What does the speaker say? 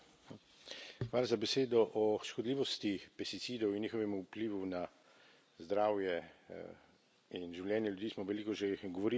Gospa predsednica! O škodljivosti pesticidov in njihovem vplivu na zdravje in življenje ljudi smo veliko že govorili tukaj.